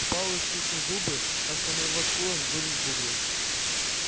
пауэлл стиснул зубы так что на его скулах вздулись бугры